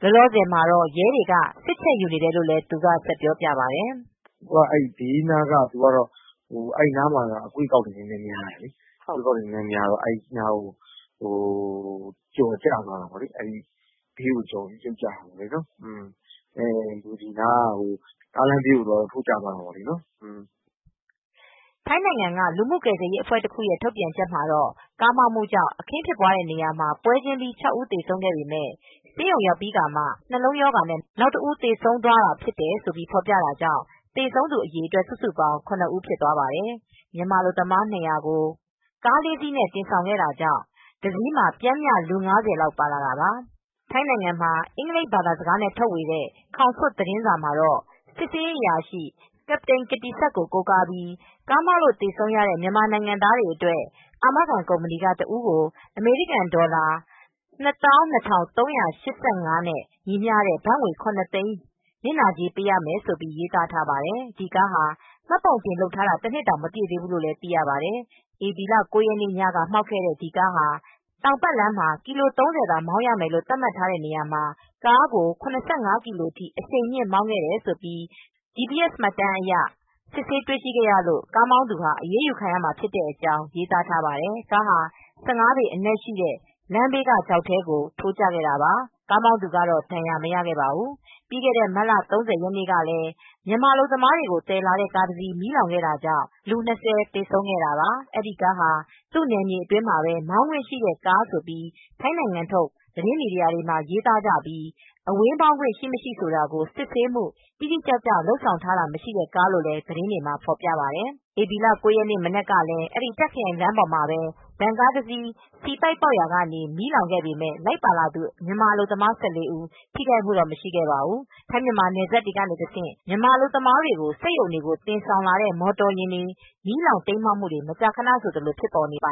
အဲဒီနားက အကွေးအကောက်များတယ်။ အဲဒီနားမှာ ကျော်ပြီးကျသွားတာပေါ့။ ကားလမ်းဘေးကို ထိုးကျသွားတာပေါ့။" ထိုင်းနိုင်ငံက လူမှုကယ်ဆယ်ရေး အဖွဲ့တခုက ထုတ်ပြန်ချက်မှာတော့ ကားမှောက်မှုကြောင့် အခင်းဖြစ်တဲ့ နေရာမှာ ပွဲချင်းပြီး ၆ ဦးသေဆုံးခဲ့ပေမယ့် ဆေးရုံရောက်ပြီးတော့မှ နှလုံးရောဂါနဲ့ နောက်တဦး သေဆုံးသွားတယ်လို့ ဖော်ပြထားတာကြောင့် သေဆုံး အရေအတွက် စုစုပေါင်း ၇ ဦး ဖြစ်သွားပါတယ်။ မြန်မာ အလုပ်သမား ၂၀၀ ကို ဗန်ကား ၄ စီးနဲ့ တင်လာတာကြောင့် တစီးမှာ ပျှမ်းမျှ လူ ၅၀ လောက် ပါလာတာပါ။ ထိုင်းနိုင်ငံမှာ အင်္ဂလိပ်ဘာသာစကားနဲ့ ထုတ်ဝေတဲ့ ခေါစွတ် သတင်းမှာတော့ စစ်ဆေးရေး ရဲအရာရှိ Capt. Kiattisak Boonplong ကို ကိုးကားပြီး ကားမှောက်လို့သေဆုံးရတဲ့ မြန်မာနိုင်ငံသားတွေအတွက် အာမခံ ကုမ္ပဏီက တဦးကို အမေရိကန် ဒေါ်လာ ၂၂၃၈၅ နဲ့ ညီမျှတဲ့ ဘတ်ငွေ ၇၀၀,၀၀၀ နစ်နာကြေး ပေးရမယ်လို့ ရေးသားထားပါတယ်။ ဒီကားဟာ မှတ်ပုံတင်လုပ်ထားတာ ၁နှစ်တောင် မပြည့်သေးဘူးလို့ သိရပါတယ်။ ဧပြီလ ရက်နေ့ညက မှောက်ခဲ့တဲ့ အဲဒီ ကားဟာ တောင်ပါတ်လမ်း ကီလို ၃၀ သာမှောင်းရမယ့်လို့သတ်မှတ်ထားတဲ့နေရာမှာ ကားကို ၇၅ကီလို အထိ အရှိန်မြင့် မောင်းခဲ့တာကို GPS မှတ်တမ်းအရ စစ်ဆေးတွေရှိခဲ့ရလို့ ကားမောင်းသူဟာ အရေးယူခံရမှာဖြစ်ကြောင်း ရေးသားထားပါတယ်။ ကားဟာ ၁၅ပေအနက်ရှိတဲ့ လမ်ဘေးကချောက်ထဲကို ထိုးကျခဲ့တာပါ။ ကားမောင်းသူကတော့ ဒဏ်ရာမရခဲ့ပါဘူး။ ပြီးခဲ့တဲ့ မတ်လ ၃၀ရက်နေ့ကလည်း မြန်မာအလုပ်သမားတွေ သယ်လာတဲ့ ကားတစီး မီးလောင်ခဲ့တာကြောင့် လူ ၂၀ သေဆုံးခဲ့ပါတယ်။ အဲဒီ ကားဟာ သူ့နယ်မြေတွင်းမှာပဲ မောင်းခွင့်ရှိတဲ့ကားလို့ ထိုင်းနိုင်ငံထုတ် သတင်းမီဒီယာတွေမှာ ရေသားကြပြီး အဝေးမောင်းခွင့် ရှိမရှိဆိုတာကို စစ်ဆေးမူ တိတိကျကျ လုပ်ဆောင်ထားတာ မရှိတဲ့ကားလို့လည်း သတင်းတွေမှာ ဖော်ပြကြပါတယ်။ ဧပြီလ ၉ရက်နေ့ မနက်ကလည်း အဲဒီ တာ့ခရိုင်လမ်းပေါ်မှာ ဗန်ကားတစီး ဆီပိုက်ပေါက်ရာကနေ မီးလောင်ခဲ့ပေမဲ့ လိုက်ပါလာတဲ့ မြန်မာအလုပ်သမား ၁၄ဦး ထိခိုက်မူတော့ မရှိခဲ့ပါဘူး။ ထိုင်း-မြန်မာနယ်စပ်ကတဆင့် မြန်မာအလုပ်သမားတွေကို စက်ရုံတွေကို သယ်ဆောင်လာတဲ့ မော်တော်ယာဉ်တွေ မီးလောင်၊ တိမ်းမှောက်မှုတွေ မကြာခနဆိုသလို ဖြစ်ပေါ်နေတာပါ